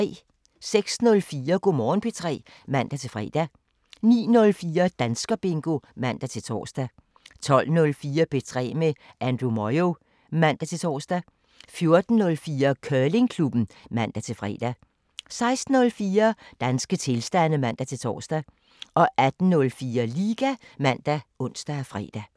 06:04: Go' Morgen P3 (man-fre) 09:04: Danskerbingo (man-tor) 12:04: P3 med Andrew Moyo (man-tor) 14:04: Curlingklubben (man-fre) 16:04: Danske tilstande (man-tor) 18:04: Liga ( man, ons, fre)